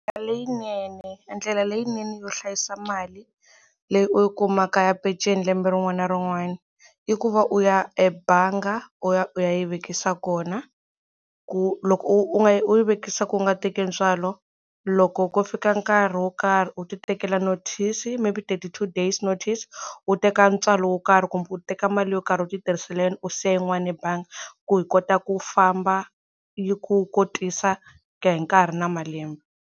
Leyinene ndlela leyinene yo hlayisa mali leyi u yi kumaka ya peceni lembe rin'wana na rin'wana i ku va u ya ebanga u ya u ya yi vekisa kona ku loko u u nga yi u yi vekisa ku u nga teki ntswalo loko ko fika nkarhi wo karhi u ti tekela notice maybe thirty two days notice u teka ntswalo wo karhi kumbe u teka mali yo karhi u ti tirhisela yona u siya yin'wana ebanga ku hi kota ku famba yi ku kotisa ku ya hi nkarhi na malembe.